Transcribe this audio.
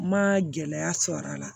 Ma gɛlɛya sɔrɔ a la